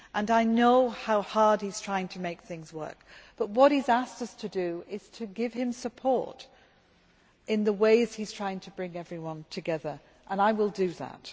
I know how hard he is trying to make things work, but what he has asked us to do is to support him in the ways he is trying to bring everyone together, and I will do that.